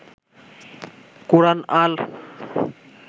কোরআন আল